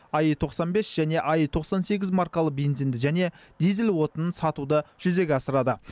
аи тоқсан бес және аи тоқсан сегіз маркалы бензинді және дизель отынын сатуды жүзеге асырады